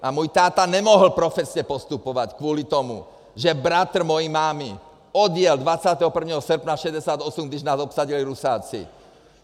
A můj táta nemohl profesně postupovat kvůli tomu, že bratr mojí mámy odjel 21. srpna 1968, když nás obsadili Rusáci.